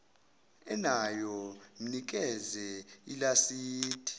enayo mnikeze ilasidi